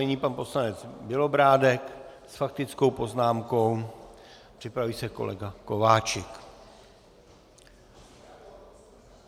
Nyní pan poslanec Bělobrádek s faktickou poznámkou, připraví se kolega Kováčik.